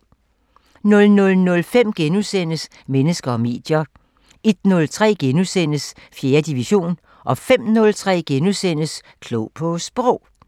00:05: Mennesker og medier * 01:03: 4. division * 05:03: Klog på Sprog *